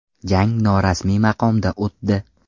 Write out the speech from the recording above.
Jang norasmiy maqomda o‘tdi.